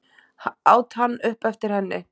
át hann upp eftir henni.